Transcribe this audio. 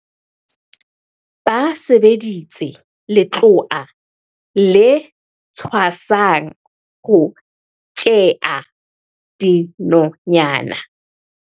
Ba sebedisitse letloa le tshwasang ho tjhea dinonyana.